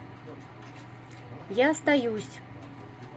я остаюсь